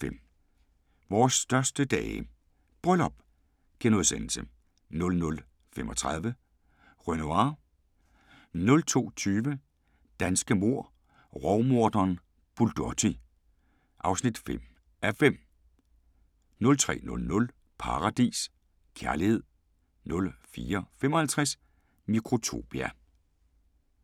00:05: Vores største dage – bryllup * 00:35: Renoir 02:20: Danske mord - Rovmorderen Bulotti (5:5) 03:00: Paradis: Kærlighed 04:55: Mikrotopia